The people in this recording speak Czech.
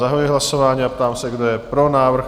Zahajuji hlasování a ptám se, kdo je pro návrh?